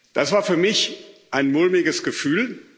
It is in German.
Das war für mich ein mulmiges Gefühl.